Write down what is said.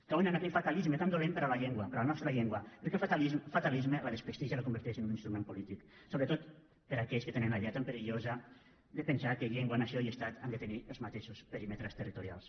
cauen en aquell fatalisme tan dolent per a la llengua per a la nostra llengua perquè el fatalisme la desprestigia la converteix en un instrument polític sobretot per a aquells que tenen la idea tan perillosa de pensar que llengua nació i estat han de tenir els mateixos perímetres territorials